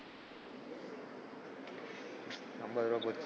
அம்பது ரூபாய் போச்சு.